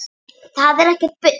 Það er ekkert bull.